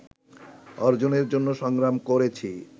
অর্জনের জন্য সংগ্রাম করেছি